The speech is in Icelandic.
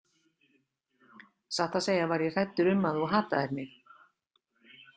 Satt að segja var ég hræddur um að þú hataðir mig.